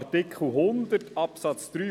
Nach Artikel 100 Absatz 3